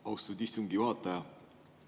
Austatud istungi juhataja!